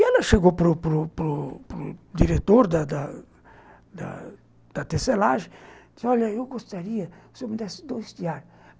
E ela chegou para para para o diretor da da da tecelagem e disse assim, olha, eu gostaria que o senhor me desse dois tear.